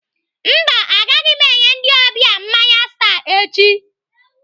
Mba, agaghị m enye ndị ọbịa mmanya Star echi.